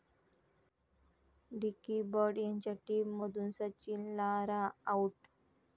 dickey Bird यांच्या टीममधून Sachin, Lara 'out'